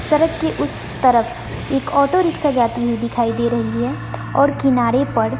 सरक के उस तरफ एक ऑटो रिक्शा जाती हुई दिखाई दे रही है और किनारे पर--